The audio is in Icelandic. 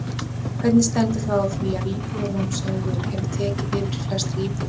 Hvernig stendur þá á því að Íbúðalánasjóður hefur tekið yfir flestar íbúðir?